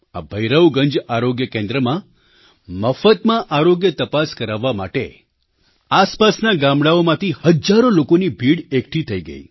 આ ભૈરવગંજ આરોગ્ય કેન્દ્રમાં મફતમાં આરોગ્ય તપાસ કરાવવા માટે આસપાસનાં ગામડાઓમાંથી હજારો લોકોની ભીડ એકઠી થઈ ગઈ